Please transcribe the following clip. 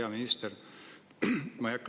Hea minister!